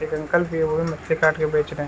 एक अंकल थे वे मछली काट के बेच रहे है ।